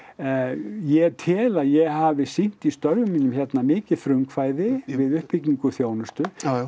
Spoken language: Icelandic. ég tel að ég hafi sýnt í störfum mínum hérna mikið frumkvæði við uppbyggingu þjónustu jájá